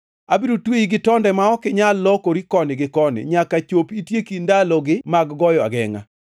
Abiro tweyi gi tonde ma ok inyal lokori koni gi koni, nyaka chop itieki ndalogi mag goyo agengʼa.